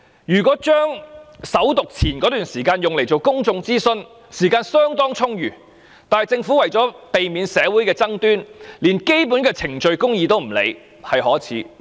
如果利用首讀前那段時間來進行公眾諮詢，時間是相當充裕的，但政府為了避免社會的爭端，連基本的程序公義也不顧，這是可耻的。